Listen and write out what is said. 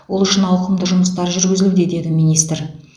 ол үшін ауқымды жұмыстар жүргізілуде деді министр